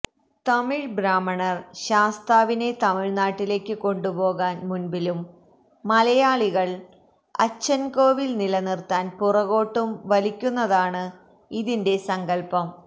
തമിഴ് ബ്രാഹ്മണർ ശാസ്താവിനെ തമിഴ്നാട്ടിലേക്ക് കൊണ്ടുപോകാൻ മുൻപിലും മലയാളികൾ അച്ചൻകോവിൽ നിലനിർത്താൻ പുറകോട്ടും വലിക്കുന്നതാണ് ഇതിന്റെ സങ്കല്പം